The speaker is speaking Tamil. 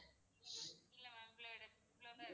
இல்ல ma'am இவ்வளோதான் இருக்கு